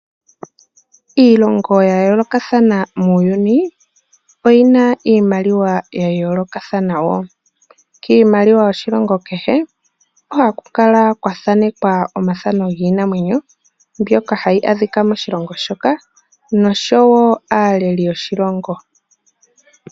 Iilongo ya yoolokathana muuyuni oyi na iimaliwa ya yoolokathana wo. Kiimaliwa yoshilongo kehe ohaku kala kwathanekwa omathano giinamwenyo mbyoka hayi adhika moshilongo shoka nosho wo aaleli yoshilongo.